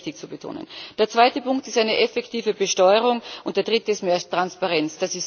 Das ist mir sehr wichtig zu betonen. Der zweite Punkt ist eine effektive Besteuerung, und der dritte ist mehr Transparenz.